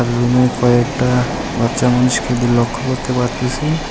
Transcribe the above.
রুমে কয়েকটা বাচ্চা মানুষকে লক্ষ্য করতে পারতাছি।